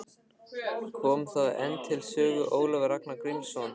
Kom þá enn til sögu Ólafur Ragnar Grímsson.